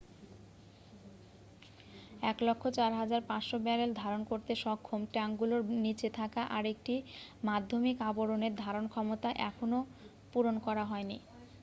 104,500 barrel ধারণ করতে সক্ষম ট্যাঙ্কগুলোর নীচে থাকা আরেকটি মাধ্যমিক আবরণের ধারণক্ষমতা এখনও পূরণ করা হয়নি